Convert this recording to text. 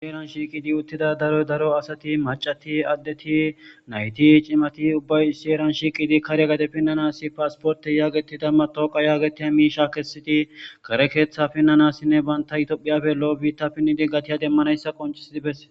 Shieran shiiqidi uttida daro daro asati macati addeti nayti cimati ubbay shieran shiiqidi karya gade pinnanasi paasporte yaagetidamma tooqa yaagetiya miisha kessiti kare keeththa finnanassinne banta yitophiyafello7 biitta pinnidi gatiya demmanayssa qoncisidi bes